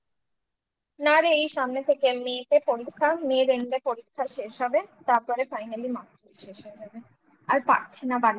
না রে এই সামনে second May থেকে পরীক্ষা May end পরীক্ষা শেষ হবে তারপরে finally masters শেষ হয়ে যাবে আর পারছি না